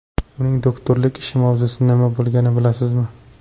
Uning doktorlik ishi mavzusi nima bo‘lganini bilasizmi?